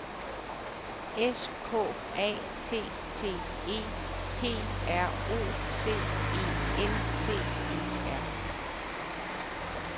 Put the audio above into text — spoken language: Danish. S K A T T E P R O C E N T E R